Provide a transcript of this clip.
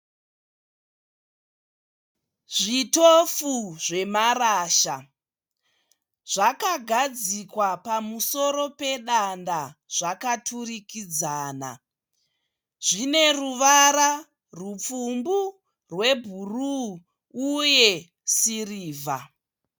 Zvitofu zvemarasha. Zvakagadzikwa pamusoro pedanda zvakaturikidzana. Zvine ruvara rupfumbu, rwebhuruu uye sirivha.